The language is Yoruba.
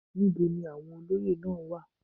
Níbo ni àwọn olóyè náà wà?